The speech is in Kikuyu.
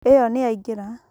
ĩyo nĩyaingĩra